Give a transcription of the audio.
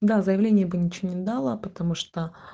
да заявление бы ничего не дало потому что